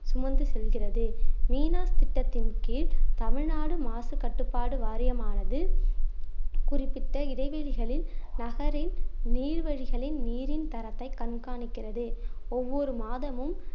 சுமந்து செல்கிறது திட்டத்தின் கீழ் தமிழ்நாடு மாசு கட்டுப்பாடு வாரியம் ஆனது குறிப்பிட்ட இடைவெளிகளில் நகரின் நீர்வழிகளின் நீரின் தரத்தை கண்காணிக்கிறது ஒவ்வொரு மாதமும்